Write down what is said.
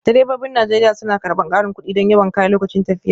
Direbobin Najeriya suna karɓar ƙarin kuɗi don yawan kaya lokacin tafiya